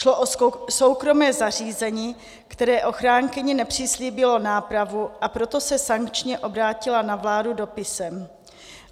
Šlo o soukromé zařízení, které ochránkyni nepřislíbilo nápravu, a proto se sankčně obrátila na vládu dopisem.